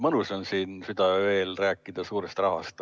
Mõnus on siin südaöö eel rääkida suurest rahast.